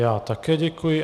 Já také děkuji.